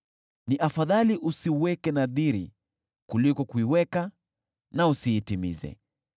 Ni afadhali usiweke nadhiri kuliko kuiweka na usiitimize.